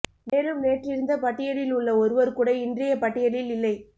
மேலும் நேற்று இருந்த பட்டியலில் உள்ள ஒருவர் கூட இன்றைய பட்டியலில் இல்லை